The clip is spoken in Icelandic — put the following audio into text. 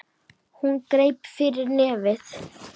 Hún greip fyrir nefið.